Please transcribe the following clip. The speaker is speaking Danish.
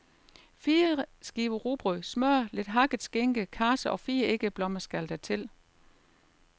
Fire skiver rugbrød, smør, lidt hakket skinke, karse og fire æggeblommer skal der til.